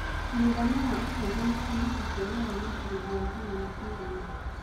mũigana wa ũcejanĩa wa mbeca cia rũraya na ciringi ya Kenya nĩ cĩgana